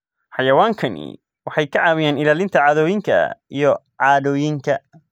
Xayawaankani waxay ka caawiyaan ilaalinta caadooyinka iyo caadooyinka.